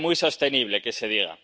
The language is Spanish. parece muy sostenible que se diga!